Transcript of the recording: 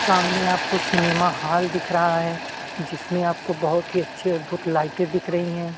सामने आपको cinema hall दिख रहा है जिसमें आपको बहुत ही अच्छी अद्भूत लाइटें दिख रही हैं।